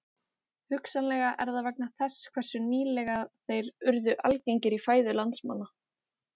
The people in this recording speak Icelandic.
Hugsanlega er það vegna þess hversu nýlega þær urðu algengar í fæðu landsmanna.